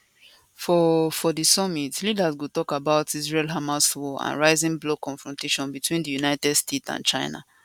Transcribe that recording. for for di summit leaders go tok about israelhamas war and rising bloc confrontation between di united states and china